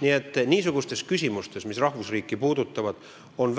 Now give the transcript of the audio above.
Nii et niisugustes küsimustes, mis rahvusriiki puudutavad, on